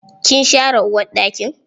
Kin share uwarɗakin?